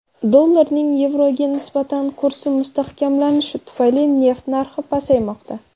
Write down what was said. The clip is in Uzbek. Dollarning yevroga nisbatan kursi mustahkamlanishi tufayli, neft narxi pasaymoqda.